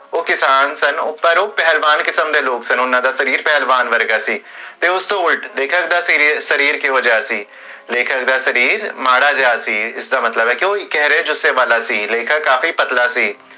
ਓਹ ਕਿਸਾਨ ਸਨ, ਪਰ ਓਹ ਪਹਲਵਾਨ ਕਿਸਮ ਦੇ ਲੋਗ ਸਨ ਓਹਨਾ ਦਾ ਸ਼ਰੀਰ ਪੇਹ੍ਲ੍ਵਵਾਨ ਵਰਗਾ ਸੀ ਦੇਖਿਆ ਓਨਾ ਦਾ ਸ਼ਰੀਰ ਕਹੋ ਜੇਹਾ ਸੀ, ਸ਼ਰੀਰ ਮਾਦਾ ਜੇਹਾ ਸੀ ਲੇਖਕ ਕਾਫੀ ਪਤਲਾ ਸੀ